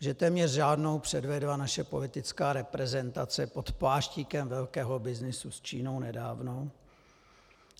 Že téměř žádnou, předvedla naše politická reprezentace pod pláštíkem velkého byznysu s Čínou nedávno,